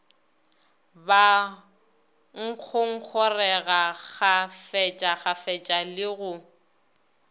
ba ngongorega kgafetšakgafetša le go